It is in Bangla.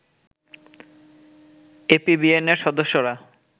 এপিবিএনের সদস্যরা